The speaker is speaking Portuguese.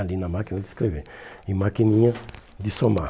ali na máquina de escrever e maquininha de somar.